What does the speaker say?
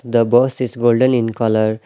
The bus is golden in colour .